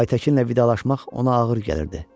Aytəkinlə vidalaşmaq ona ağır gəlirdi.